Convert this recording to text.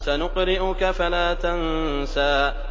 سَنُقْرِئُكَ فَلَا تَنسَىٰ